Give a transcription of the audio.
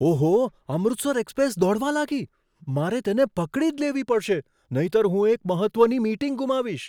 ઓહો! અમૃતસર એક્સપ્રેસ દોડવા લાગી. મારે તેને પકડી જ લેવી પડશે, નહીંતર હું એક મહત્ત્વની મીટિંગ ગુમાવીશ!